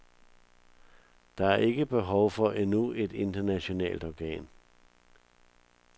Der er ikke behov for endnu et internationalt organ.